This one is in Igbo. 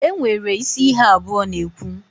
Enwere isi ihe abụọ na-ekwu.